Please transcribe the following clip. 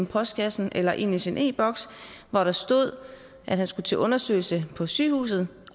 postkassen eller ind i sin e boks hvor der stod at han skulle til undersøgelse på sygehuset